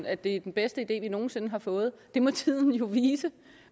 at det er den bedste idé vi nogen sinde har fået det må tiden jo vise